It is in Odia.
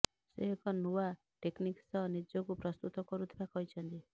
ସେ ଏକ ନୂଆ ଟେକନିକ୍ ସହ ନିଜକୁ ପ୍ରସ୍ତୁତ କରୁଥିବା କହିଛନ୍ତି